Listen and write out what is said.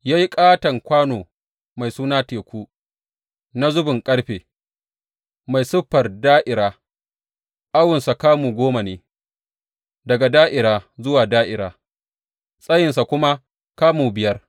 Ya yi ƙaton kwano mai suna Teku na zubin ƙarfe, mai siffar da’ira, awonsa kamu goma ne daga da’ira zuwa da’ira tsayinsa kuma kamu biyar.